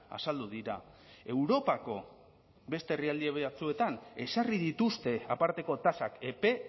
azaldu dira europako beste herrialde batzuetan ezarri dituzte aparteko tasak epe